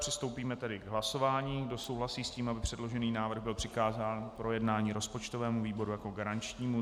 Přistoupíme tedy k hlasování, kdo souhlasí s tím, aby předložený návrh byl přikázán k projednání rozpočtovému výboru jako garančnímu.